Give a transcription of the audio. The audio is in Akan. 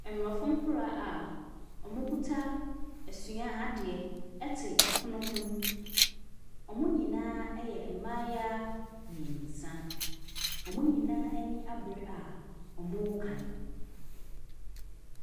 Mmorɔfo nkwadaa ɔmɔ kuta ɛsua deɛ ɛte ɛpono hɔn ɔmɔ nyinaa ɛyɛ mmeayaa mmiɛnsa ɔmɔ nyinaa ani abire a ɔmɔ kan.